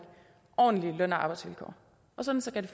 ordentlige løn og arbejdsvilkår og sådan skal det